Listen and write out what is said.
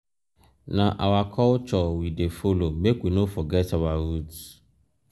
na our culture we dey follow make we no forget our roots.